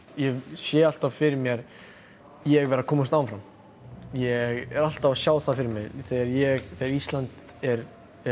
ég sé alltaf fyrir mér ég vera að komast áfram ég er alltaf að sjá það fyrir mér þegar ég þegar Ísland er